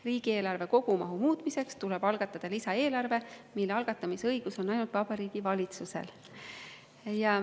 Riigieelarve kogumahu muutmiseks tuleb algatada lisaeelarve, mille algatamise õigus on ainult Vabariigi Valitsusel.